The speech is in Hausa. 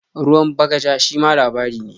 "Ruwan bagaja" shima labari ne.